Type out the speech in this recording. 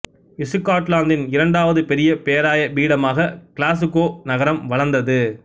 இசுகாட்லாந்தின் இரண்டாவது பெரிய பேராய பீடமாக கிளாசுக்கோ நகரம் வளர்ந்தது